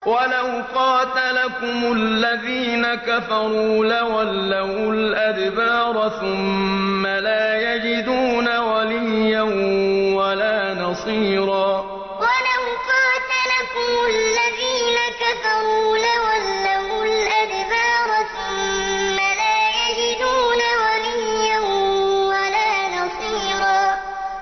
وَلَوْ قَاتَلَكُمُ الَّذِينَ كَفَرُوا لَوَلَّوُا الْأَدْبَارَ ثُمَّ لَا يَجِدُونَ وَلِيًّا وَلَا نَصِيرًا وَلَوْ قَاتَلَكُمُ الَّذِينَ كَفَرُوا لَوَلَّوُا الْأَدْبَارَ ثُمَّ لَا يَجِدُونَ وَلِيًّا وَلَا نَصِيرًا